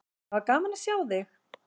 Það var gaman að sjá þig!